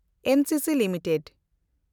NCC limited